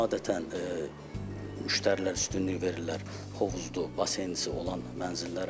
Adətən müştərilər üstünlük verirlər hovuzlu, baseynlisi olan mənzillərə.